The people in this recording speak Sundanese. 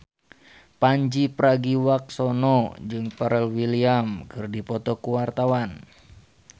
Pandji Pragiwaksono jeung Pharrell Williams keur dipoto ku wartawan